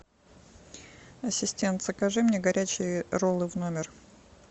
ассистент закажи мне горячие роллы в номер